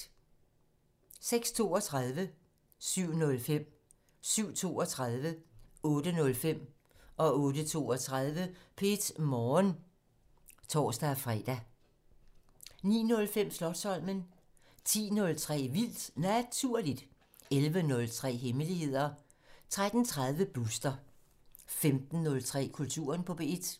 06:32: P1 Morgen (tor-fre) 07:05: P1 Morgen (tor-fre) 07:32: P1 Morgen (tor-fre) 08:05: P1 Morgen (tor-lør) 08:32: P1 Morgen (tor-fre) 09:05: Slotsholmen 10:03: Vildt Naturligt 11:03: Hemmeligheder 13:30: Booster 15:03: Kulturen på P1